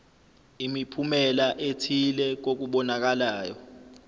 imiphumela ethile kokubonakalayo